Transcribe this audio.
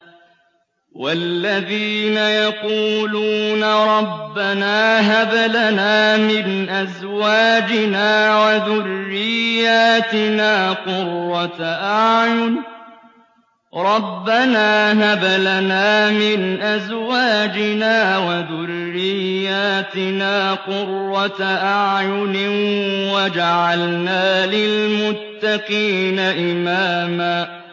وَالَّذِينَ يَقُولُونَ رَبَّنَا هَبْ لَنَا مِنْ أَزْوَاجِنَا وَذُرِّيَّاتِنَا قُرَّةَ أَعْيُنٍ وَاجْعَلْنَا لِلْمُتَّقِينَ إِمَامًا